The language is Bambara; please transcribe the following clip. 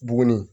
Buguni